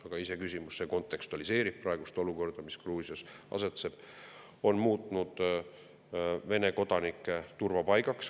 Aga iseenesest kontekstualiseerib praegust olukorda, mis Gruusias on, see, et riik on muutunud Vene kodanike turvapaigaks.